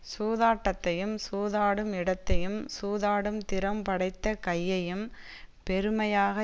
சூதாட்டத்தையும் சூதாடும் இடத்தையும் சூதாடும் திறம் படைத்த கையையும் பெருமையாக